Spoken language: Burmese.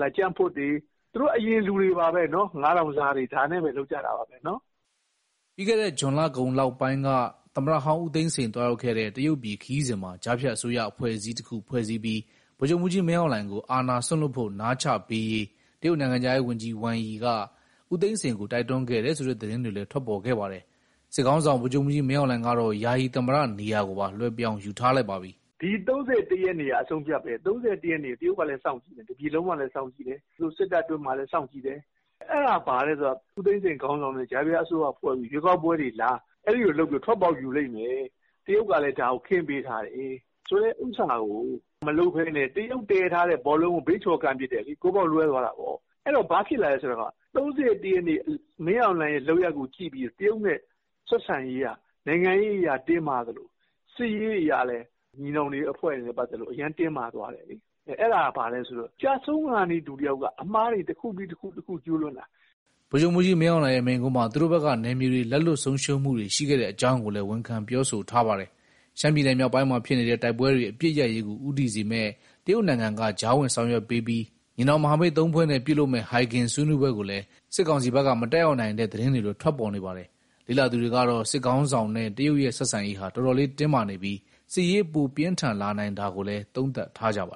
၊ ကြံ့ဖွတ်တွေ၊ သူတို့အရင်လူတွေပါပဲ။ ၅,၀၀၀ စားတွေနဲ့ပဲ လုပ်ကြတာပါပဲ။" ပြီးခဲ့တဲ့ ဇွန်လကုန်ပိုင်းလောက်က သမ္မတဟောင်းဦးသိန်းစိန် သွားရောက်ခဲ့တဲ့ တရုတ်ပြည်ခရီးစဉ်မှာ ကြားဖြတ်အစိုးရ အဖွဲအစည်းတခုဖွဲ့စည်းပြီး ဗိုလ်ချုပ်မှူးကြီး မင်းအောင်လှိုင်ကို အာဏာစွန့်လွှတ်ဖို့ နားချပေးရေး တရုတ်နိုင်ငံခြားရေးဝန်ကြီး Wang Yi က ဦးသိန်းစိန်ကို တိုက်တွန်းခဲ့တယ်ဆိုတဲ့ သတင်းတွေလည်း ထွက်ပေါ်ခဲ့ပါတယ်။ စစ်ခေါင်းဆောင် ဗိုလ်ချုပ်မှူးကြီး မင်းအောင်လှိုင်ကတော့ ယာယီသမ္မတနေရာကိုပါ လွှဲပြောင်းယူထားလိုက်ပါပြီ။ "ဒီ ၃၁ ရက်နေ့က အဆုံးအဖြတ်ပဲ။ ၃၁ ရက်နေ့က တရုတ်ကလည်း စောင့်ကြည့်တယ်။ တပြည်လုံးကလည်း စောင့်ကြည့်တယ်။ သူတို့စစ်တပ်အတွင်းမှာလည်း စောင့်ကြည့်တယ်။ အဲဒါဘာလဲဆိုတော့ ဦးသိန်းစိန်ခေါင်းဆောင်တဲ့ ကြားဖြတ်အစိုးရဖွဲ့ပြီး ရွေးကောက်ပွဲတွေလား။ အဲဒီလိုလုပ်ပြီးတော့ ထွက်ပေါက်ယူလိမ့်မယ်။ တရုတ်ကလည်း ဒါကိုခင်းပေးထားတယ်ဆိုတဲ့ ဥစ္စာကို မလုပ်ဘဲနဲ့ တရုတ်တည်ထားတဲ့ ဘောလုံးကို ဘေးချော်ကန်ပစ်တယ်လေ။ ဂိုးပေါက်လွဲသွားတာပေါ့။ အဲတော့ ဘာဖြစ်လာလဲဆိုတော့ ၃၁ရက်နေ့ မင်းအောင်လှိုင်ရဲ့ လုပ်ရပ်ကိုကြည့်ပြီးတော့ တရုတ်နဲ့ ဆက်ဆံရေးက နိုင်ငံရေးအရတင်းမာသလို စစ်ရေးအရလည်း ညီနောင်အဖွဲ့တွေနဲ့ ပတ်သက်လို့ အရမ်းတင်းမာသွားတယ်လေ။ အဲဒါက ဘာလဲဆိုတော့ ကျဆုံးခါနီးလူတယောက်က အမှားတွေတခုပြီးတခု ကျူးလွန်တာပဲ။" ဗိုလ်ချုပ်မှူးကြီး မင်းအောင်လှိုင်ရဲ့ မိန့်ခွန်းမှာ သူတို့ဘက်က နယ်မြေတွေ လက်လွှတ်ဆုံးရှုံးမှုတွေ ရှိခဲ့တဲ့အကြောင်းကိုလည်း ဝန်ခံပြောဆိုထားပါတယ်။ ရှမ်းပြည်နယ်မြောက်ပိုင်းမှာဖြစ်နေတဲ့ တိုက်ပွဲတွေ အပစ်ရပ်ရေးကို ဦးတည်စေမယ့် တရုတ်နိုင်ငံက ကြားဝင် ဆောင်ရွက်ပေးပြီး ညီနောင်မဟာမိတ် ၃ ဖွဲ့နဲ့ ပြုလုပ်မယ့် ဟိုင်ဂင်ဆွေးနွေးပွဲကိုလည်း စစ်ကောင်စီဘက်က မတက်ရောက်နိုင်တဲ့ သတင်းတွေလည်း ထွက်ပေါ်နေပါတယ်။ လေ့လာသူတွေကတော့ စစ်ခေါင်းဆောင်နဲ့ တရုတ်ရဲ့ဆက်ဆံရေးဟာ တော်တော်လေးတင်းမာနေပြီး စစ်ရေးပိုပြင်းထန်လာနိုင်တာကိုလည်း သုံးသပ်ထားကြပါ